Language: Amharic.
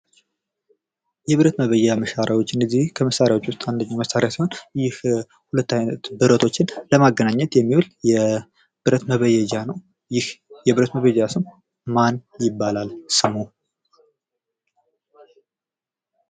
የብረት መበየጃ መሣሪያዎች እነዚህ ከመሳሪያ ውስጥ አንደኛው መሳሪያ ሲሆን ይህ ሁለት አይነት ብረቶችን ለማገናኘት የሚውል የብረት መበየጃ ነው። ይህ የብረት መበየጃ ስም ማን ይባላል? ማን ይባላል ስሙ?